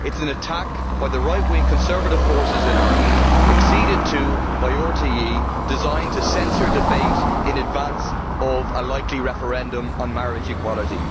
It is an attack by the right wing conservative forces in Ireland, acceded to by RTE, and designed to censor debate in advance of a likely referendum on marriage equality.